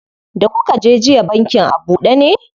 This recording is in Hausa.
Da kuka je jiya bankin a buɗe ne?